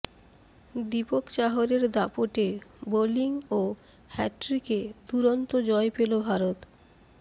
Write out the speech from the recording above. দীপক চাহরের দাপটে বোলিং ও হ্যাটট্রিকে দুরন্ত জয় পেল ভারত